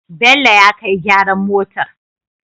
Bello ya kai gyaran motar